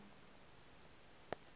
do vha ḓuvha la u